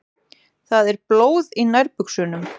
Það er blóð í nærbuxunum.